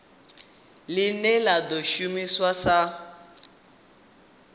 line la do shuma sa